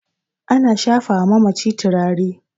ana shafawa mamaci turare